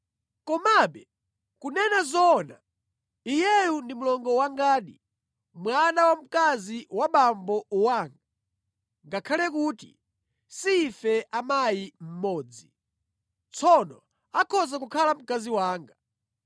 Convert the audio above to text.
Komabe kunena zoona, iyeyu ndi mlongo wangadi, mwana wamkazi wa abambo anga ngakhale kuti si ife a mayi mmodzi. Tsono akhoza kukhala mkazi wanga.